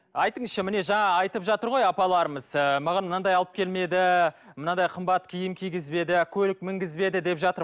айтыңызшы міне жаңа айтып жатыр ғой апаларымыз ы маған мынадай алып келмеді мынадай қымбат киім кигізбеді көлік мінгізбеді деп жатыр